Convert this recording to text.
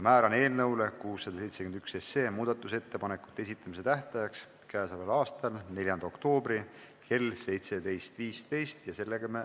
Määran eelnõu 671 muudatusettepanekute esitamise tähtajaks k.a 4. oktoobri kell 17.15.